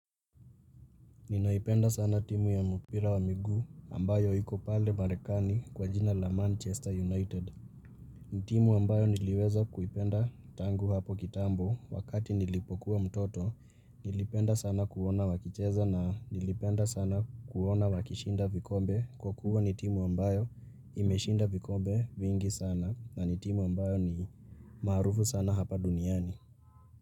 Ninaipenda sana timu ya mpira wa miguu ambayo hiko pale marekani kwa jina la manchester united timu ambayo niliweza kuipenda tangu hapo kitambo wakati nilipokuwa mtoto nilipenda sana kuona wakicheza na nilipenda sana kuona wakishinda vikombe kwa kuwa ni timu ambayo imeshinda vikombe vingi sana na ni timu ambayo ni maarufu sana hapa duniani ni.